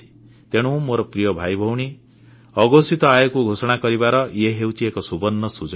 ତେଣୁ ମୋର ପ୍ରିୟ ଭାଇଭଉଣୀ ଅଘୋଷିତ ଆୟକୁ ଘୋଷଣା କରିବାର ଇଏ ହେଉଛି ଏକ ସୁବର୍ଣ୍ଣ ସୁଯୋଗ